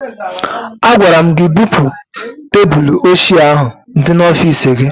Agwara m gị bupu tebụlụ ochie ahụ dị n'ọfiisi gị!